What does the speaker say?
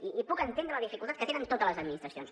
i puc entendre la dificultat que tenen totes les administracions